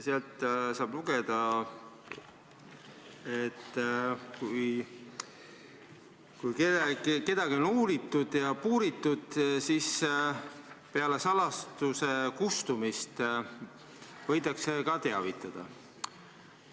Sealt saab lugeda, et kui kedagi on uuritud ja puuritud, siis peale salastatuse kustumist võidakse teda ka teavitada.